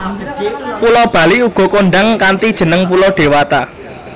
Pulo Bali uga kondhang kanthi jeneng Pulo Dewata